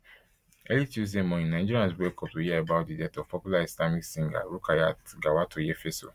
early tuesday morning nigerians bin wake up to hear about di death of popular islamic singer rukayat gawatoyefeso